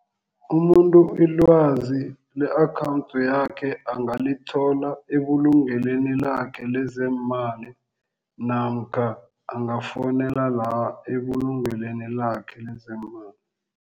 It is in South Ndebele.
Umuntu ilwazi le-akhawundi yakhe angalithola ebulungelweni lakhe lezeemali namkha angafowunela la ebulungelweni lakhe lezeemali.